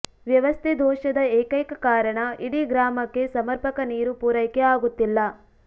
ವ್ಯವಸ್ಥೆ ದೋಷದ ಏಕೈಕ ಕಾರಣ ಇಡೀ ಗ್ರಾಮಕ್ಕೆ ಸಮರ್ಪಕ ನೀರು ಪೂರೈಕೆ ಆಗುತ್ತಿಲ್ಲ